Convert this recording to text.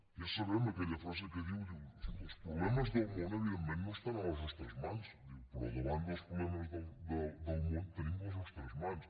ja sabem aquella frase que diu els problemes del món evidentment no estan a les nostres mans però davant dels problemes del món tenim les nostres mans